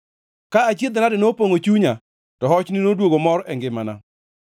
Ka achiedh-nade nopongʼo chunya, to hochni noduogo mor e ngimana.